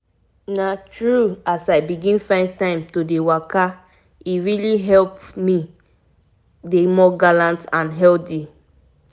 true true as i um learn more about why waka dey important e make me change how i um dey do my things everyday. um